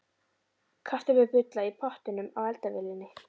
Kartöflur bulla í pottinum á eldavélinni.